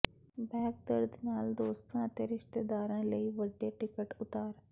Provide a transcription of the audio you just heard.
back ਦਰਦ ਨਾਲ ਦੋਸਤਾਂ ਅਤੇ ਰਿਸ਼ਤੇਦਾਰਾਂ ਲਈ ਵੱਡੇ ਟਿਕਟ ਉਤਾਰ